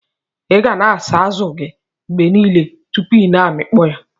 iga na asa azu gi mgbe nile tupu ina amikpo ya.